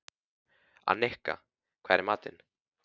Annika, hvað er í matinn?